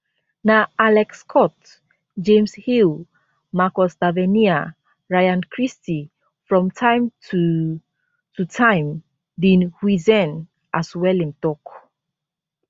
na alex scott james hill marcus tavernier ryan christie from time to to time dean huijsen as wellim tok